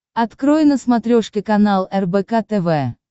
открой на смотрешке канал рбк тв